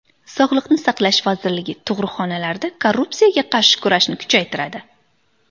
Sog‘liqni saqlash vazirligi tug‘ruqxonalarda korrupsiyaga qarshi kurashni kuchaytiradi.